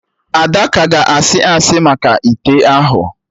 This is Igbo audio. Ada ka ga asị asị maka ite ahụ